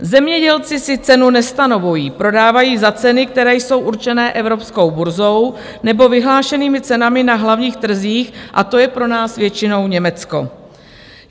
Zemědělci si cenu nestanovují, prodávají za ceny, které jsou určené Evropskou burzou nebo vyhlášenými cenami na hlavních trzích, a to je pro nás většinou Německo.